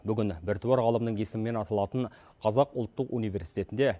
бүгін біртуар ғалымның есімімен аталатын қазақ ұлттық университетінде